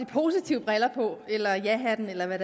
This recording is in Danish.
positive briller på eller jahatten eller hvad